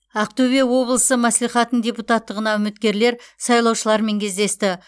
ақтөбе облысы мәслихатының депутаттығына үміткерлер сайлаушылармен кездесті